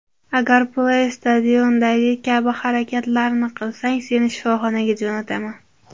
Agar Play Station’dagi kabi harakatlarni qilsang, seni shifoxonaga jo‘nataman”.